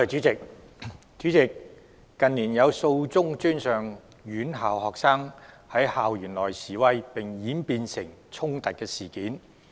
主席，近年有數宗專上院校學生在校園內示威並演變成衝突的事件。